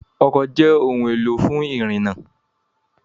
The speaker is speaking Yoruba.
Ọkọ̀ jẹ́ ohun-èlò fún ìrìnnà.